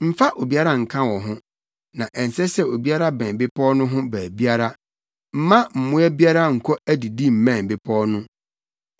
Mfa obiara nka wo ho na ɛnsɛ sɛ obiara bɛn bepɔw no ho baabiara. Mma mmoa biara nkɔ adidi mmɛn bepɔw no.”